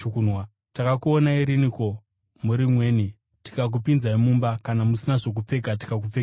Takakuonai riniko muri mweni tikakupinzai mumba, kana musina zvokupfeka tikakupfekedzai?